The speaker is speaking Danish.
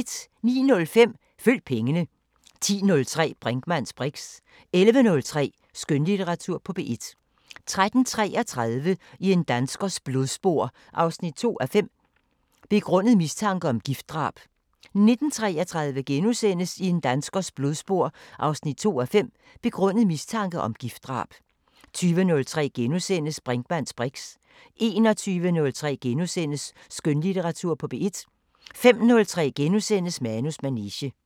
09:05: Følg pengene 10:03: Brinkmanns briks 11:03: Skønlitteratur på P1 13:33: I en danskers blodspor 2:5 – Begrundet mistanke om giftdrab 19:33: I en danskers blodspor 2:5 – Begrundet mistanke om giftdrab * 20:03: Brinkmanns briks * 21:03: Skønlitteratur på P1 * 05:03: Manus manege *